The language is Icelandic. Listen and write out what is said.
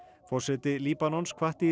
forseti Líbanons hvatti